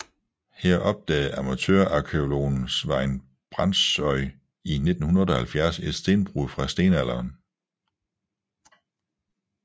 Her opdagede amatørarkæologen Svein Brandsøy i 1978 et stenbrud fra stenalderen